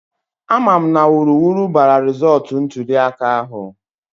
A ma mụ na wuruwuru bara rizọọtụ ntụliaka ahụ